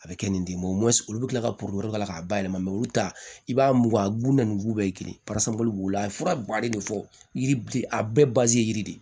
A bɛ kɛ ni den o olu bɛ kila ka k'a la k'a bayɛlɛma olu ta i b'a mugu a bulu na ni wugu bɛɛ girin b'u la a ye fura ba de fɔ yiri a bɛɛ ye yiri de ye